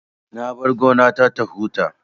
Na bar gona ta ta huta